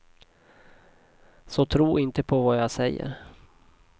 Så tro inte på vad jag säger.